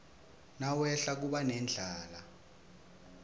nawehla kuba nendlala